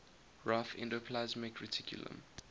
rough endoplasmic reticulum